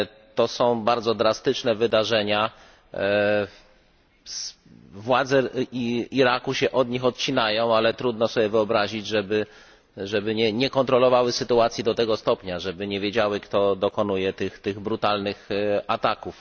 To są bardzo drastyczne wydarzenia, władze Iraku się od nich odcinają, ale trudno sobie wyobrazić, żeby nie kontrolowały sytuacji do tego stopnia, żeby nie wiedziały, kto dokonuje tych brutalnych ataków.